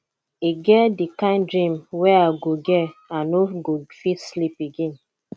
e get di kain dream wey i go get i no go fit sleep again